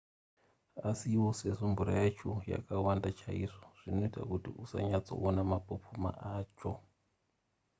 asiwo sezvo mvura yacho yakawanda chaizvo zvinoita kuti usanyatsoona mapopoma acho